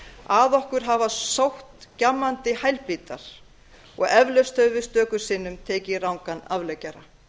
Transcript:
að okkur hafa sótt gjammandi hælbítar og eflaust höfum við stöku sinnum tekið rangan afleggjara